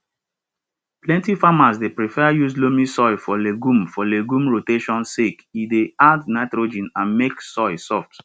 plenty farmers dey prefer use loamy soil for legume for legume rotation sake e dey add nitrogen and make soil soft